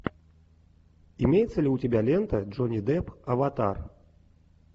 имеется ли у тебя лента джонни депп аватар